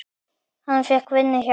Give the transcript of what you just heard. Hann fékk vinnu hjá